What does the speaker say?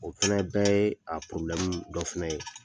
O fana bɛɛ ye a dɔ fana ye